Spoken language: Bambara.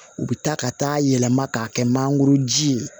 U bɛ taa ka taa yɛlɛma k'a kɛ mangoro ji ye